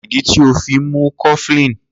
Kini idi ti o fi nmu cofflin?